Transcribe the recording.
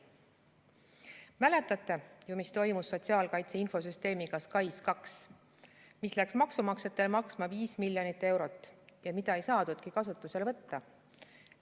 Mäletate ju, mis toimus sotsiaalkaitse infosüsteemiga SKAIS2, mis läks maksumaksjatele maksma 5 miljonit eurot ja mida ei saadudki kasutusele võtta.